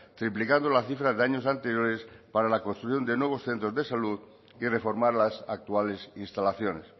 triplicando la cifra de años anteriores para la construcción de nuevos centros de salud y reformar las actuales instalaciones